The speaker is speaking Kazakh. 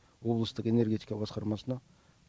облыстық энергетика басқармасына